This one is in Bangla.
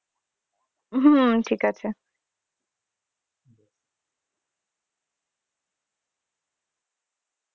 হম ঠিক আছে।